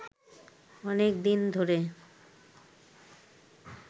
অনেক দিন ধরে